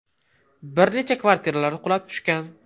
Bir necha kvartiralar qulab tushgan.